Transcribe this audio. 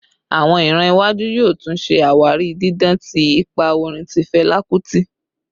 Awọn iran iwaju yoo tun ṣe awari didan ti ipa orin ti Fẹla Kuti